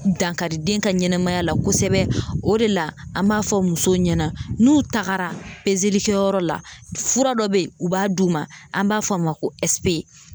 Dankari den ka ɲɛnɛmaya la kosɛbɛ o de la an b'a fɔ musow ɲɛna n'u tagara pezelikɛyɔrɔ la fura dɔ be yen u b'a d'u ma an b'a fɔ o ma ko ɛsipe